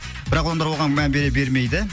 бірақ олар оған мән бере бермейді